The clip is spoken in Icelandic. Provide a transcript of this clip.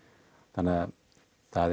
þannig það